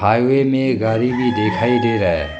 Highway में गाड़ी भी दिखाई दे रहा है।